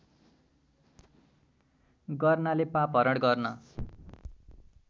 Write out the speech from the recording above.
गर्नाले पापहरण गर्न